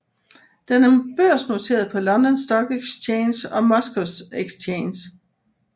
Den er børsnoteret på London Stock Exchange og Moscow Exchange